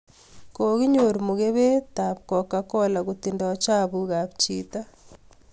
Kokinyor mukebet ako coca cola kotindoi chapuk apchito.